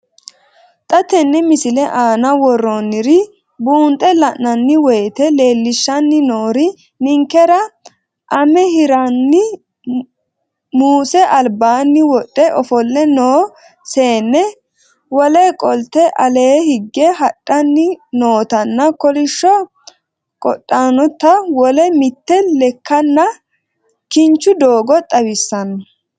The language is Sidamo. Xa tenne missile aana worroonniri buunxe la'nanni woyiite leellishshanni noori ninkera ;ame hirranni muuse albaanni wodhe ofolle noo seenne, wole qolte ale higge hadhanni nootanna kolishsho qodhanota wole mitte lekkanna kinchu doogo xawissanno.